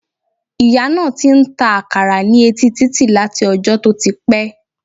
Ìyá náà ti n ta àkàrà ní etí títì láti ojó tó ti pé